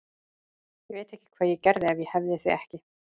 Ég veit ekki hvað ég gerði ef ég hefði þig ekki.